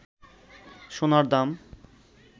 সোনার দাম